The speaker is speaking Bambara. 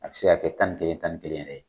A bi se ka kɛ tan ni kelen tan ni kelen yɛrɛ ye.